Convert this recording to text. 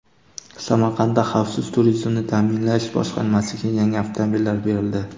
Samarqandda Xavfsiz turizmni ta’minlash boshqarmasiga yangi avtomobillar berildi .